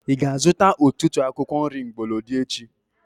Ị ga-azuta ọtụtụ akwụkwọ nri mgbolodi echi?